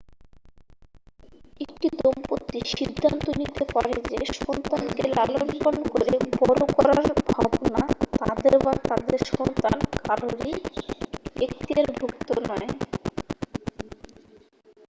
একটি দম্পতি সিদ্ধান্ত নিতে পারে যে সন্তানকে লালন পালন করে বড় করার ভাবনা তাদের বা তাদের সন্তান কারোরই এক্তিয়ারভুক্ত নয়